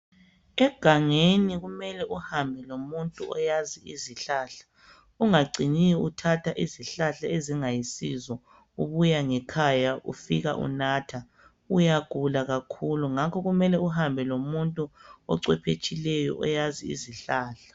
Egangeni kumele uhambe lomuntu oyazi izihlahla, ungacini uthatha izihlahla ezingayisizo, ubuya ngekhaya ufika unatha. Uyagula kakhulu ngakho kumele uhambe ocwebetshileyo oyazi izihlahla.